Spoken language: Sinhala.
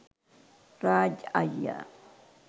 රාජ් අයියා